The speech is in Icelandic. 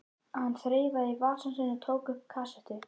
Hann þreifaði í vasann sinn og tók upp kassettu.